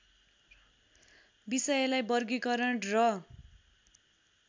विषयलाई वर्गिकरण र